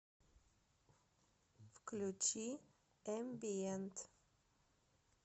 включи эмбиент